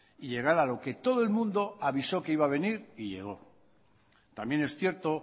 y llegar a lo que todo el mundo avisó que iba a venir y llegó también es cierto